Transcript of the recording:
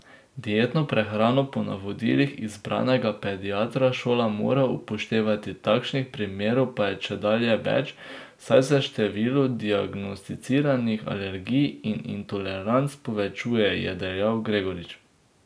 Dietno prehrano po navodilih izbranega pediatra šola mora upoštevati, takih primerov pa je čedalje več, saj se število diagnosticiranih alergij in intoleranc povečuje, je dejal Gregorič.